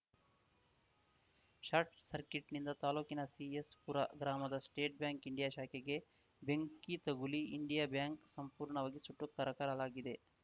short ಸರ್ಕಿಟ್‌ನಿಂದ ತಾಲೂಕಿನ ಸಿಎಸ್‌ಪುರ ಗ್ರಾಮದ ಸ್ಟೇಟ್‌ ಬ್ಯಾಂಕ್‌ ಇಂಡಿಯಾ ಶಾಖೆಗೆ ಬೆಂಕಿ ತಗುಲಿ ಇಂಡಿಯಾ ಬ್ಯಾಂಕ್‌ ಸಂಪೂರ್ಣವಾಗಿ ಸುಟ್ಟು ಕರಕಲಾಲಾಗಿದೆ